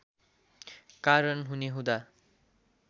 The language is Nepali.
कारण हुने हुँदा